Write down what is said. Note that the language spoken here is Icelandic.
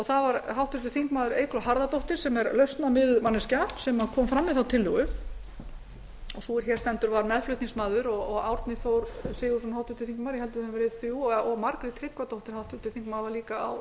var háttvirtur þingmaður eygló harðardóttir sem er lausnamiðuð manneskja sem kom fram með þá tillögu og sú er hér stendur var meðflutningsmaður og háttvirtir þingmenn árni þór sigurðsson og margrét tryggvadóttir voru líka á